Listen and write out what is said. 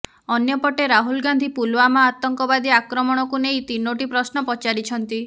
ଅନ୍ୟପଟେ ରାହୁଲ ଗାନ୍ଧି ପୁଲଓ୍ୱାମା ଆତଙ୍କବାଦୀ ଆକ୍ରମଣକୁ ନେଇ ତିନୋଟି ପ୍ରଶ୍ନ ପଚାରିଛନ୍ତି